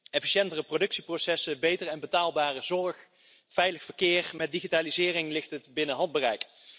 Efficiëntere productieprocessen, betere en betaalbare zorg, veilig verkeer met digitalisering ligt het binnen handbereik.